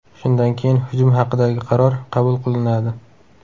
Shundan keyin hujum haqidagi qaror qabul qilinadi.